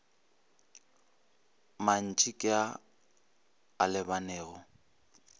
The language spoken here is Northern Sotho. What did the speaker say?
mantši ke a a lebanego